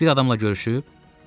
Heç bir adamla görüşüb?